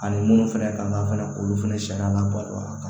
Ani minnu fɛnɛ kan ka fɛnɛ k'olu fɛnɛ sariya labato a kan